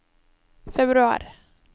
februar